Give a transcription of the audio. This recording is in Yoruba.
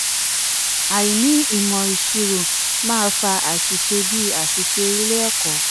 àìní ìmọ̀ ìṣirò máa fa àṣìṣe bíi aṣìṣe ilé-ẹ̀kọ́.